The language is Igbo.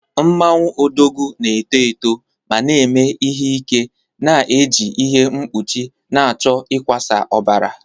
Mmanwu Odogwu na-eto eto ma na-eme ihe ike na-eji ihe mkpuchi na-achọ ịkwasa ọbara